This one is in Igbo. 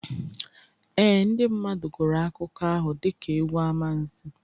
Ee, ndị mmadụ gụrụ akụkọ ahụ dịka egwu amansi